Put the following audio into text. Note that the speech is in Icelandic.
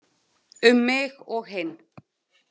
Um mig og hinn.